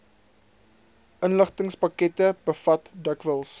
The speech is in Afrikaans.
inligtingspakkette bevat dikwels